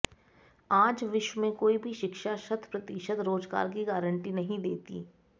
आज विश्व में कोई भी शिक्षा शत प्रतिशत रोजगार की गारंटी नहीं देती